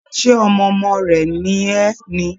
Ṣe ọmọ ọmọ rẹ̀ ni ẹ́ ni?